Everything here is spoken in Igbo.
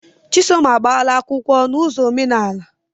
Chisom agbaala akwụkwọ na ụzọ omenaala.